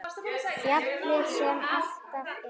Fjallið sem alltaf er.